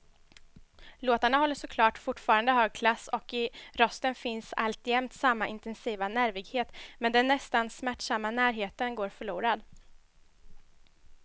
Låtarna håller såklart fortfarande hög klass och i rösten finns alltjämt samma intensiva nervighet, men den nästan smärtsamma närheten går förlorad.